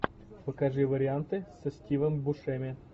покажи варианты со стивом бушеми